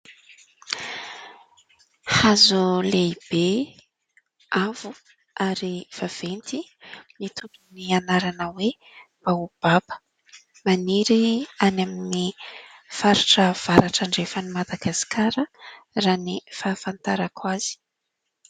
Hazo lehibe avo ary vaventy mitondra ny anarana hoe "baobaba". Maniry any amin'ny faritra avaratra andrefan'ny Madagasikara raha ny fahafantarako azy.